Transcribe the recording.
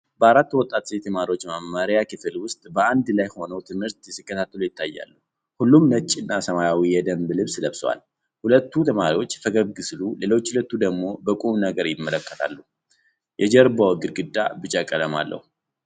አራት ወጣት ሴት ተማሪዎች በመማሪያ ክፍል ውስጥ በአንድ ላይ ሆነው ትምህርት ሲከታተሉ ይታያሉ። ሁሉም ነጭ እና ሰማያዊ የደንብ ልብስ ለብሰዋል። ሁለቱ ተማሪዎች ፈገግ ሲሉ፣ ሌሎች ሁለቱ ደግሞ በቁም ነገር ይመለከታሉ። የጀርባው ግድግዳ ቢጫ ቀለም አለው።